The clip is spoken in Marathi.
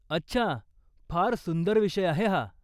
अच्छा. फार सुंदर विषय आहे हा.